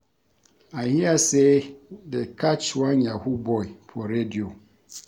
I hear say dey catch one Yahoo boy for radio